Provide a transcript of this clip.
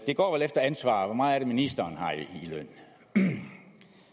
går vel efter ansvar hvor meget er det ministeren har i løn